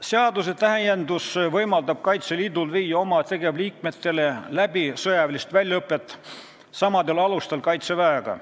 Seaduse täiendus võimaldab Kaitseliidul viia oma tegevliikmete sõjalist väljaõpet läbi samadel alustel Kaitseväega.